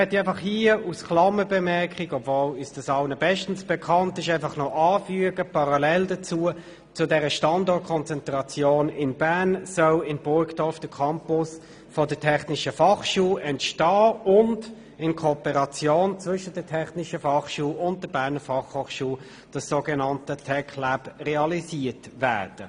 Obwohl uns dies allen bestens bekannt ist, möchte ich hier als Klammerbemerkung anfügen, dass parallel zu dieser Standortkonzentration in Bern in Burgdorf der Campus der Technischen Fachschule Bern (TF Bern) entsteht und in Kooperation zwischen der TF und der BFH das so genannte TecLab realisiert wird.